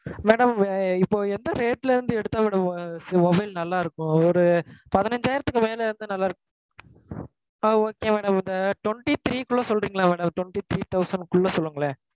Madam இப்போ எந்த rate ல இருந்து எடுத்தா madam இது mobile நல்லா இருக்கும்? ஒரு பதினஞ்சாயிரத்துக்கு மேல எடுத்தா நல்லா இருக்குமா? ஆஹ் okay madam இந்த twenty three க்குள்ள சொல்றீங்களா madam twenty three thousand க்குள்ள சொல்லுங்களேன்.